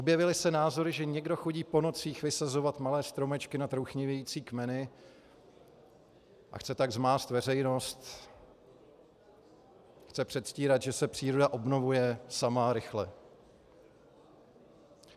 Objevily se názory, že někdo chodí po nocích vysazovat malé stromečky na trouchnivějící kmeny a chce tak zmást veřejnost, chce předstírat, že se příroda obnovuje sama a rychle.